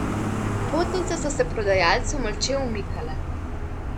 Potnice so se prodajalcu molče umikale.